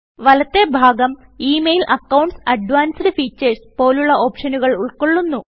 വലത്തെ ഭാഗം email accounts advanced features പോലുള്ള ഓപ്ഷനുകൾ ഉൾകൊള്ളുന്നു